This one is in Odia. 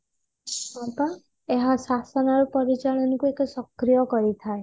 ଏହା ଶାସନ ର ପରିଚାଳନା କୁ ଏକ ସକ୍ରିୟ କରିଥାଏ